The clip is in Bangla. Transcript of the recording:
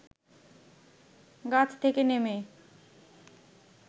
গাছ থেকে নেমে